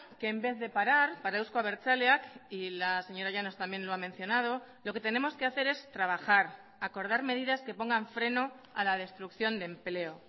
que en vez de parar para euzko abertzaleak y la señora llanos también lo ha mencionado lo que tenemos que hacer es trabajar acordar medidas que pongan freno a la destrucción de empleo